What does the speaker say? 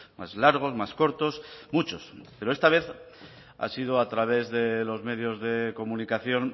más largos más cortos muchos pero esta vez ha sido a través de los medios de comunicación